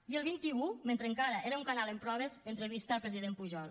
i el vint un mentre encara era un canal en proves entrevista al president pujol